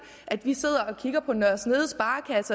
at vi sidder og kigger på nørre snede